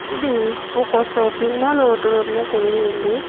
ఇది ఒక shopping mall వాతావరణం కలిగి ఉంది.